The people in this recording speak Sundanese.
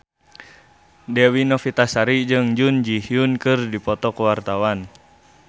Dewi Novitasari jeung Jun Ji Hyun keur dipoto ku wartawan